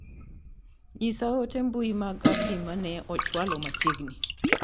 Nyisa ote mbui mag Abdi ma ne ochwalo machiegni.